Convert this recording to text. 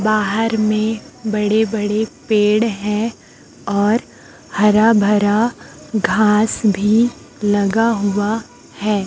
बाहर में बड़े बड़े पेड़ है और हरा भरा घास भी लगा हुआ है।